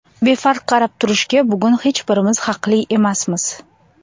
Befarq qarab turishga bugun hech birimiz haqli emasmiz.